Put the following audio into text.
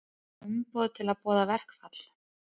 Fékk umboð til að boða verkfall